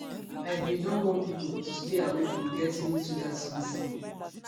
i bin don warn pipo to stay away from getting into dat submersible